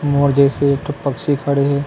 मोर जइसे एकठो पक्षी खड़े हे।